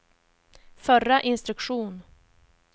förra instruktion